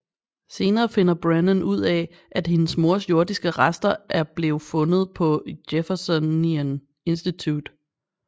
Senere finder Brennan ud af at hendes mors jordiske rester er blev fundet på Jeffersonian Institute